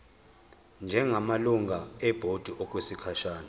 njengamalungu ebhodi okwesikhashana